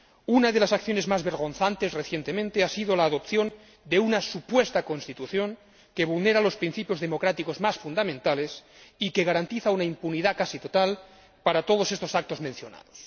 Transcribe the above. Una de las acciones más vergonzantes, recientemente, ha sido la adopción de una supuesta constitución que vulnera los principios democráticos más fundamentales y que garantiza una impunidad casi total para todos estos actos mencionados.